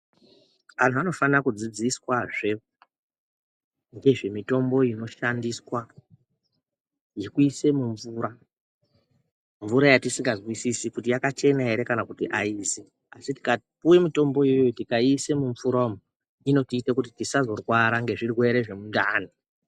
Anhu anofana kudzidziswazve, nezvemitombo inoshandiswa, zvekuise mumvura, mvura yatisingazwisisi kuti yakachena ere, kana kuti aizi. Asi tikapuwe mitombo iyoyo tikaiise mumvura umu, inotiite kuti tisazorwara nezvirwere zvemundani.